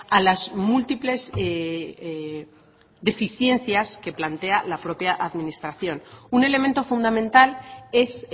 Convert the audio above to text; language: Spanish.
a las múltiples deficiencias que plantea la propia administración un elemento fundamental es